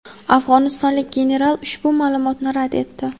afg‘onistonlik general ushbu ma’lumotni rad etdi.